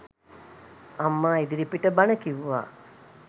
අම්මා ඉදිරිපිට බණ කිව්වා.